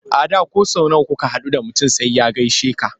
A da ko sau nawa kuka haɗu da mutum sai ya gaishe ka.